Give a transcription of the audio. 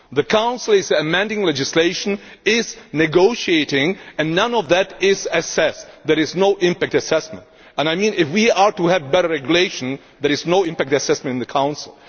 The Council is amending legislation and negotiating, and none of that is assessed. There is no impact assessment. I mean that if we are to have better regulation, there is no impact assessment in the Council